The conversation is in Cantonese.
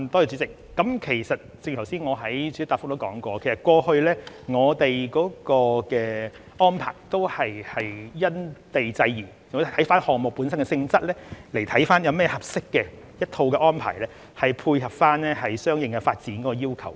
主席，正如我剛才在主體答覆中提到，我們過去的安排也是因地制宜，視乎項目本身的性質，考慮一套合適的安排，配合相應的發展要求。